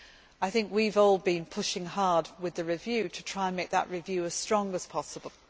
I think we have all been pushing hard with the review to try to make that review as strong as possible.